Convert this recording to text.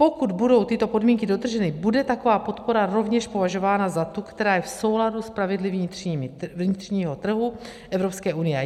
Pokud budou tyto podmínky dodrženy, bude taková podpora rovněž považována za tu, která je v souladu s pravidly vnitřního trhu Evropské unie.